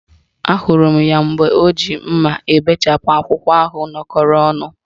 Ahụrụ m ya mgbe o ji mma ebechapụ akwụkwọ ahụ nọkọrọ ọnụ